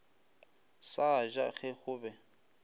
sa ja ge go be